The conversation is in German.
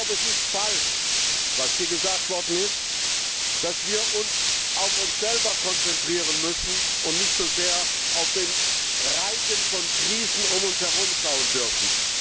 Es ist falsch, was hier gesagt worden ist, dass wir uns auf uns selber konzentrieren müssen und nicht so sehr auf den Reigen von Krisen um uns herum schauen dürfen.